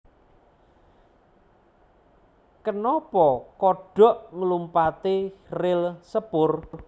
Kenapa kodhok nglumpati ril sepur